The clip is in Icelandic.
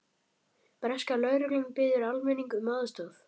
Breska lögreglan biður almenning um aðstoð